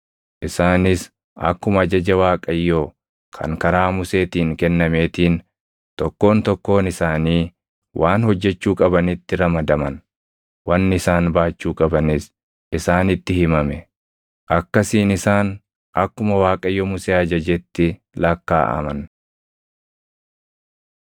Isaanis akkuma ajaja Waaqayyoo kan karaa Museetiin kennameetiin tokkoon tokkoon isaanii waan hojjechuu qabanitti ramadaman; wanni isaan baachuu qabanis isaanitti himame. Akkasiin isaan akkuma Waaqayyo Musee ajajetti lakkaaʼaman.